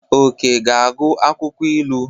Oke ga-agụ akwụkwọ ilu.